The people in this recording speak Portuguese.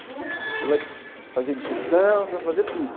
Você vai fazer digestão, você vai fazer tudo.